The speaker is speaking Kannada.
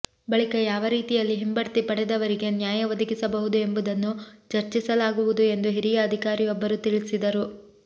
ಬಳಿಕ ಯಾವ ರೀತಿಯಲ್ಲಿ ಹಿಂಬಡ್ತಿ ಪಡೆದವರಿಗೆ ನ್ಯಾಯ ಒದಗಿಸಬಹುದು ಎಂಬುದನ್ನು ಚರ್ಚಿಸಲಾಗುವುದು ಎಂದು ಹಿರಿಯ ಅಧಿಕಾರಿಯೊಬ್ಬರು ತಿಳಿಸಿದರು